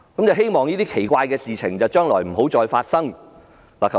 希望這些奇怪的事情將來不要再次發生。